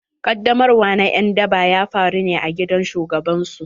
Qaddamarwa na en daba ya faru ne a gidan shugaban su.